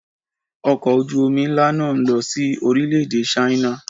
Ọkọ̀ ojú omi ńlá náà ń lọ sí orílè-èdè Ṣáínà